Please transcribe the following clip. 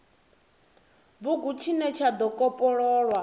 bugu tshine tsha do kopololwa